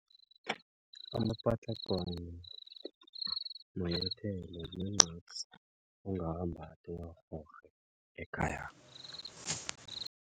Amapatlagwana manyathelo mancapsi ongawabatha uwarhorhe ekhaya.